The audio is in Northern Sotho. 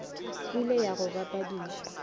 e le ya go bapadiša